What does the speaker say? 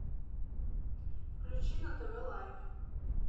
включи на тв лайф